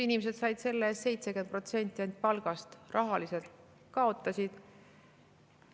Inimesed said selle eest ainult 70% palgast, rahaliselt nad ju kaotasid.